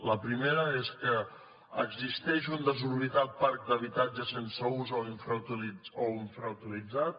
la primera és que exis·teix un desorbitat parc d’habitatges sense ús o infra·utilitzat